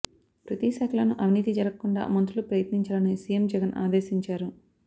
ప్రతి శాఖలోనూ అవినీతి జరగకుండా మంత్రులు ప్రయత్నించాలని సీఎం జగన్ ఆదేశించారు